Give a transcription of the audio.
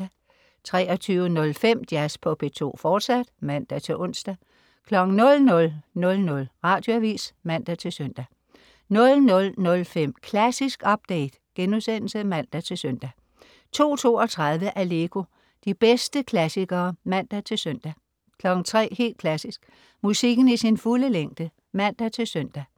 23.05 Jazz på P2, fortsat (man-ons) 00.00 Radioavis (man-søn) 00.05 Klassisk update* (man-søn) 02.32 Allegro. De bedste klassikere (man-søn) 03.00 Helt Klassisk. Musikken i sin fulde længde (man-søn)